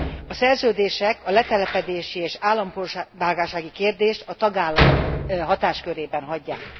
A szerződések a letelepedési és állampolgársági kérdést a tagállamok hatáskörében hagyják.